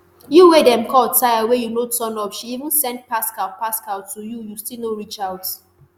you wey dem call tire wey you no turn up she even send pascal pascal to you you still no reach out